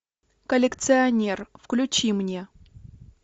коллекционер включи мне